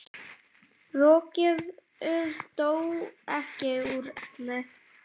Rokkið dó ekki úr elli.